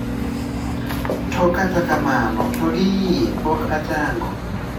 To kata kamano to gi iye pok achango.